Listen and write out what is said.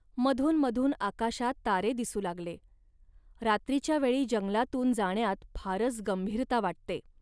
मधून मधून आकाशात तारे दिसू लागले. रात्रीच्या वेळी जंगलातून जाण्यात फारच गंभीरता वाटते